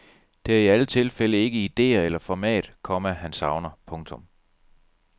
Det er i alle tilfælde ikke idéer eller format, komma han savner. punktum